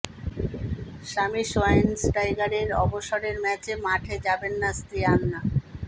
স্বামী সোয়াইনস্টাইগারের অবসরের ম্যাচে মাঠে যাবেন না স্ত্রী অ্যানা